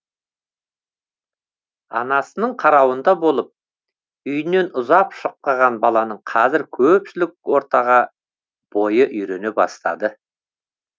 анасының қарауында болып үйінен ұзап шықпаған баланың қазір көпшілік ортаға бойы үйрене бастады